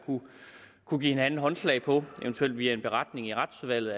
kunne give hinanden håndslag på eventuelt via en beretning i retsudvalget